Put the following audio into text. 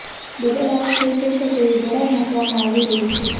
double આવક થઇ જશે તેવી બડાઈ હાંકવામાં આવી રહી છે